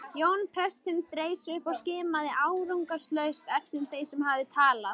Jón prestsins reis upp og skimaði árangurslaust eftir þeim sem hafði talað.